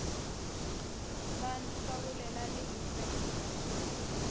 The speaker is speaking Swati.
bantfu bakulela live